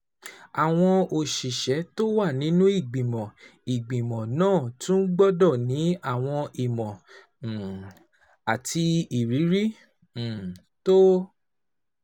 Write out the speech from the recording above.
Àwọn òṣìṣẹ́ tó wà nínú ìgbìmọ̀ ìgbìmọ̀ náà tún gbọ́dọ̀ ní àwọn ìmọ̀ um àti ìrírí um tó